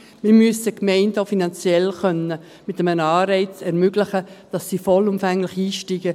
Wir müssen den Gemeinden auch finanziell mit einem Anreiz ermöglichen, dass sie vollumfänglich einsteigen.